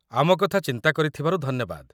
ଆମ କଥା ଚିନ୍ତା କରିଥିବାରୁ ଧନ୍ୟବାଦ ।